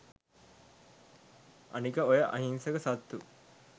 අනික ඔය අහින්සක සත්තු